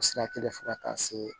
O sira kelen fo ka taa se